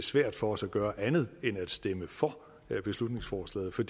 svært for os at gøre andet end at stemme for beslutningsforslaget for